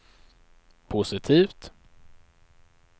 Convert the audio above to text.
positivt